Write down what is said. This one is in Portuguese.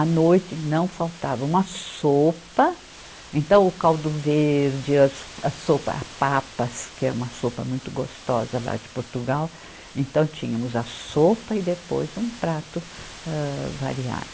À noite não faltava uma sopa, então o caldo verde, as a sopa, a papas, que é uma sopa muito gostosa lá de Portugal, então tínhamos a sopa e depois um prato âh variado.